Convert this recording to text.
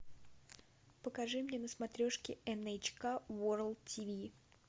покажи мне на смотрешке эн эйч ка ворлд тиви